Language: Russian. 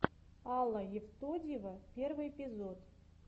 алла евтодьева первый эпизод